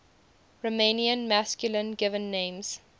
romanian masculine given names